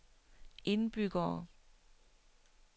indbyggere